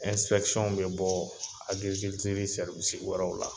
bɛ bɔ agirikilitiri wɛrɛw la.